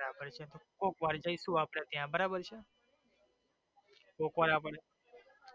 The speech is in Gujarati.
બરાબર છે કોક વાર જયસુ આપડે બરાબર છે કોક વાર એટલે